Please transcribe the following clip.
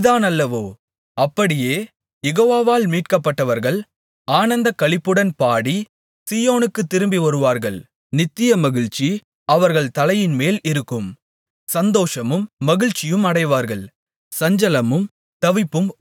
அப்படியே யெகோவாவால் மீட்கப்பட்டவர்கள் ஆனந்தக்களிப்புடன் பாடி சீயோனுக்குத் திரும்பிவருவார்கள் நித்திய மகிழ்ச்சி அவர்கள் தலையின்மேல் இருக்கும் சந்தோஷமும் மகிழ்ச்சியும் அடைவார்கள் சஞ்சலமும் தவிப்பும் ஓடிப்போகும்